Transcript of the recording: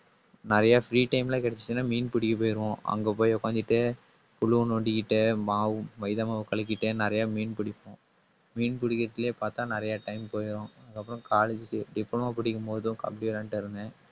நிறைய free time ல கிடைச்சுச்சுன்னா, மீன் பிடிக்க போயிருவோம். அங்க போய் உட்கார்ந்துட்டு, புழு நோண்டிக்கிட்டு, மாவு மைதா மாவு கலக்கிட்டு நிறைய மீன் பிடிப்போம். மீன் பிடிக்கிறதிலேயே பார்த்தால் நிறைய time போயிடும். அப்புறம் college க்கு diploma படிக்கும் போதும் கபடி விளையாட்டு இருந்தேன்